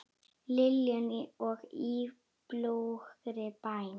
Liljuna og Í bljúgri bæn.